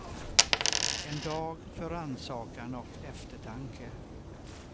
En dag för rannsakan och eftertanke.